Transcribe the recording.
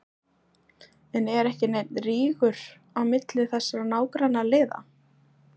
En er ekki neinn rígur á milli þessara nágrannaliða?